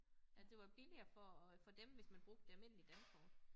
At det var billigere for at for dem hvis man brugte et almindeligt Dankort